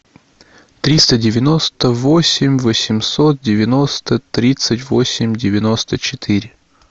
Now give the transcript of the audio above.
триста девяносто восемь восемьсот девяносто тридцать восемь девяносто четыре